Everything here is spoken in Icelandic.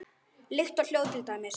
Lykt og hljóð til dæmis.